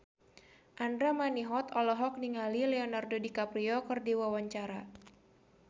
Andra Manihot olohok ningali Leonardo DiCaprio keur diwawancara